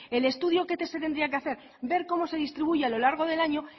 el estudio que se tendría que hacer ver cómo se distribuye a lo largo del año